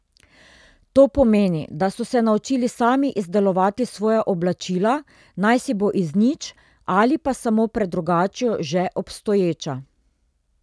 To pomeni, da so se naučili sami izdelovati svoja oblačila, najsi bo iz nič ali pa samo predrugačijo že obstoječa.